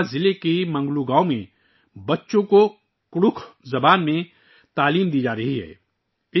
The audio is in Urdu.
گڑھوا ضلع کے منگلو گاؤں میں بچوں کو کڈکھ زبان میں تعلیم دی جارہی ہے